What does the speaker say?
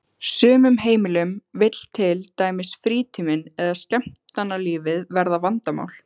sumum heimilum vill til dæmis frítíminn eða skemmtanalífið verða vandamál.